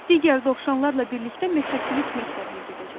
Digər dovşanlarla birlikdə meşəçilik məktəbinə gedəcəksiniz.